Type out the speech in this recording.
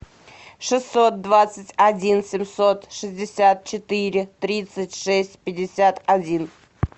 шестьсот двадцать один семьсот шестьдесят четыре тридцать шесть пятьдесят один